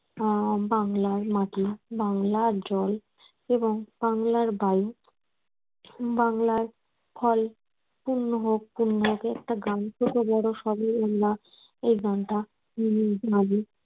আহ বাংলার মাটি বাংলার জল এবং বাংলার বায়ু বাংলার ফল পূর্ণ হোক পূর্ণ হোক এই একটা গান ছোট বড় সবাই আমরা এই গানটা জানি